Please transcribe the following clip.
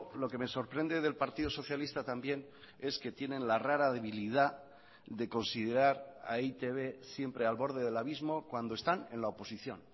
lo que me sorprende del partido socialista también es que tienen la rara debilidad de considerar a e i te be siempre al borde del abismo cuando están en la oposición